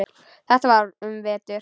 Þetta var um vetur.